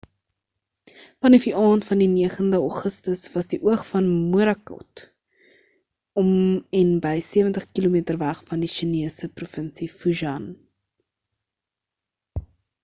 vanaf die aand van die 9e augustus was die oog van morakot om en by sewentig kilometer weg van die chinese provinsie fujian